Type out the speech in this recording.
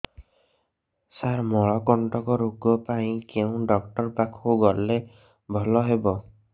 ସାର ମଳକଣ୍ଟକ ରୋଗ ପାଇଁ କେଉଁ ଡକ୍ଟର ପାଖକୁ ଗଲେ ଭଲ ହେବ